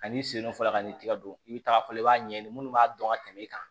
Ani sen dɔ fɔla ka n'i tigɛ don i bɛ taga fɔlɔ i b'a ɲɛɲini minnu b'a dɔn ka tɛmɛ i kan